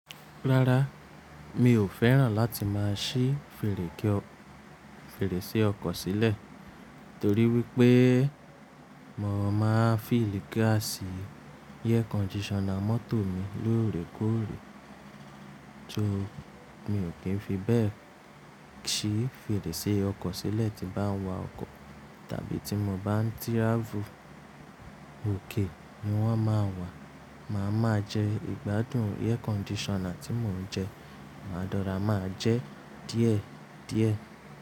Rárá, mi ò fẹ́ràn láti máa ṣí fèrèsé ọkọ̀ sílẹ̀ torí wípé mo máa ń fill gas air conditioner mọ́tò mi lóòrèkóòrè. So mi o kì ń fi bẹ́ẹ̀ ṣí fèrèsé ọkọ̀ sílẹ̀ tí bá ń wa ọkọ̀ tàbí tí mo bá ń travel, òkè ni wọ́n máa ń wà. Màá máa jẹ ìgbádùn air conditioner tí mò ń jẹ, máa de rora, máa jẹ díẹ̀ díẹ̀.